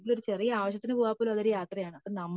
ഇപ്പോ ചെറിയ ഒരു അവസയതിന് പോവാൻ പോലും അത് യാത്രയാണ് അപ്പോ നമ്മ